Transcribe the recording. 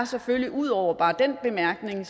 selvfølgelig ud over bare den bemærkning